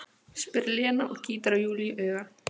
spyr Lena og gýtur á Júlíu auga.